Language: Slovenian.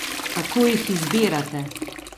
Kako jih izbirate?